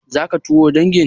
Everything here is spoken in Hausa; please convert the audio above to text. Zaka taron dangin?